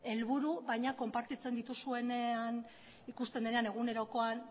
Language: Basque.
helburu baina konpartitzen dituzuenean ikusten denean egunerokoan